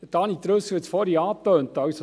Daniel Trüssel hat es vorhin angetönt: